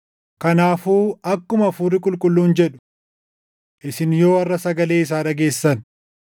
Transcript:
Kanaafuu akkuma Hafuurri Qulqulluun jedhu: “Isin yoo harʼa sagalee isaa dhageessan,